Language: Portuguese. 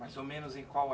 Mais ou menos em qual é